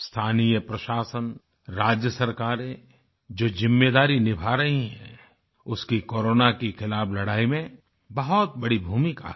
स्थानीय प्रशासन राज्य सरकारें जो जिम्मेदारी निभा रही हैं उसकी कोरोना के खिलाफ़ लड़ाई में बहुत बड़ी भूमिका है